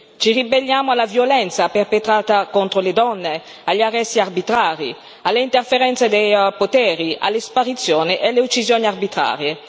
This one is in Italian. Ci ribelliamo alla violenza perpetrata contro le donne, agli arresti arbitrari, alle interferenze di poteri, alle sparizioni e alle uccisioni arbitrarie.